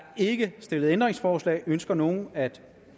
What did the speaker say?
ikke stillet ændringsforslag ønsker nogen at